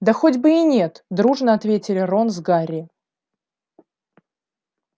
да хоть бы и нет дружно ответили рон с гарри